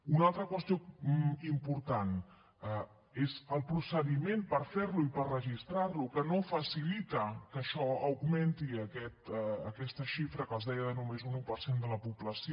una altra qüestió important és el procediment per fer lo i per registrar lo que no facilita que això augmenti aquesta xifra que els deia de només un un per cent de la població